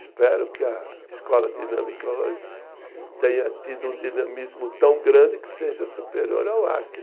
Espero que a Escola Dinâmica hoje tenha tido um dinamismo tão grande que seja superior ao Arque